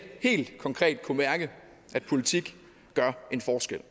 helt konkret kunne mærke at politik gør en forskel